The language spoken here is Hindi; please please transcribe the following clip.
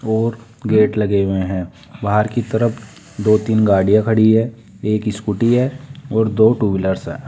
और गेट लगे हुए हैं बाहर की तरफ दो तीन गाड़ियां खड़ी है एक स्कूटी है और दो टू व्हीलर्स है।